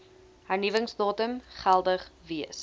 hernuwingsdatum geldig wees